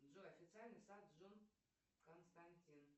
джой официальный сайт джон константин